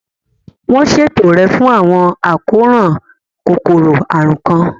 Wọ́n ṣètò rẹ̀ fún àwọn àkóràn kòkòrò àrùn kan.